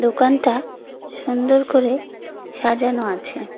দোকানটা সুন্দর করে সাজানো আছে।